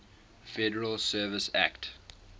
federal reserve act